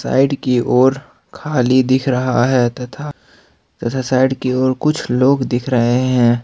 Side की ओर खाली दिख रहा है तथा साइड की ओर कुछ लोग दिख रहे हैं।